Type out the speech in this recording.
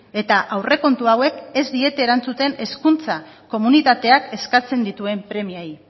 eta aurrekontu hauek ez diete erantzuten hezkuntza komunitateak eskatzen dituen premiei